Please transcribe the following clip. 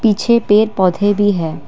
छे पेड़ पौधे भी है।